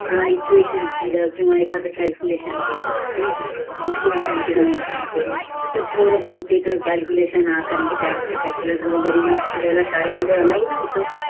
equation दिल किव्वा एखाद क्याल्कुलेषण दिल नायका स्कूल टीमे ची गोष्ट संग्तोमी तर पोर म्हणते क्याल्कुलेशोन कार्य ला कारण त्या वेळी क्याल्कुलेतर चा वापर कराला शाळेमध्ये अनुमती नव्हती